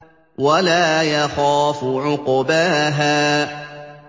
وَلَا يَخَافُ عُقْبَاهَا